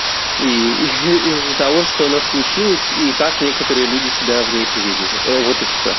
и и из-за того что она случилось и как некоторые люди себя в ней повелители вот и все